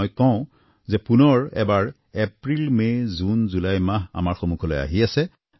মই কওঁ যে পুনৰ এবাৰ এপ্ৰিল মে জুন জুলাই মাহ আমাৰ সন্মুখলৈ আহি আছে